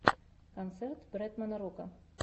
концерт бретмана рока